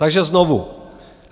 Takže znovu.